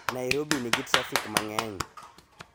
Nairobi nigi trafik mang'eny